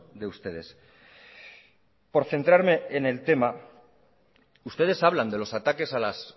de ustedes por centrarme en el tema ustedes hablan de los ataques a las